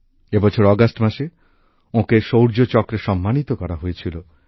এ বছর অগাস্ট মাসে ওঁকে শৌর্য চক্রে সম্মানিত করা হয়েছিল